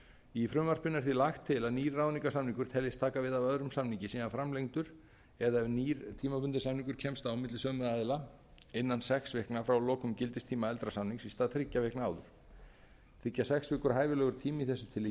í frumvarpinu er því lagt til að nýr ráðningarsamningur teljist taka við af öðrum samningi sé hann framlengdur eða ef nýr tímabundinn samningur kemst á milli sömu aðila innan sex vikna frá lokum gildistíma eldra samnings í stað þriggja vikna áður þykja sex vikur hæfilegur tími í þessu tilliti tl